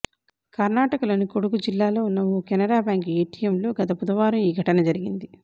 కర్ణాటకలోని కొడగు జిల్లాలో ఉన్న ఓ కెనరా బ్యాంక్ ఏటీఎంలో గత బుధవారం ఈ ఘటన జరిగింది